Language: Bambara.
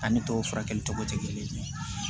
A ni tɔw furakɛli cogo tɛ kelen ye